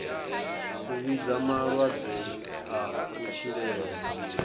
a vhidza malwadze a kutshilele